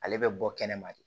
Ale bɛ bɔ kɛnɛma de